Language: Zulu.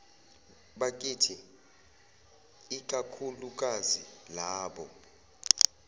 bakithi ikakhulukazi labo